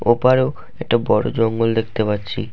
ওপারেও একটা বড়ো জঙ্গল দেখতে পাচ্ছি।